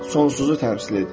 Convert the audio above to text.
Sonsuzu təmsil edir.